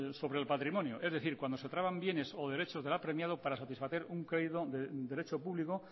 sobre el patrimonio es decir cuando se traban bienes o derecho del apremiado para satisfacer un crédito de derecho público